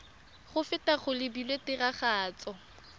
go feta go lebilwe tiragatso